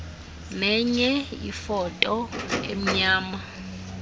nenye ifoto emnyama